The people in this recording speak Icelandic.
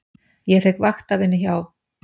Ég fékk vaktavinnu hjá